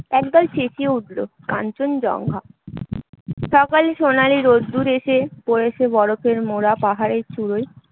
একদল চেঁচিয়ে উঠল কাঞ্চনজঙ্ঘা সকালের সোনালী রোদ্দুর এসে পড়েছে বরফের মোড়া পাহাড়ের চূড়োয়